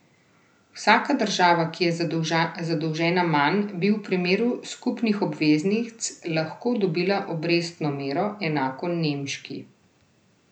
Vsaka država, ki je zadolžena manj, bi v primeru skupnih obveznic lahko dobila obrestno mero, enako nemški.